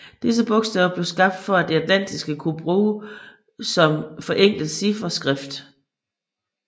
Disse bogstaver blev skabt for at det atlantiske kunne blive brugt som forenklet chifferskrift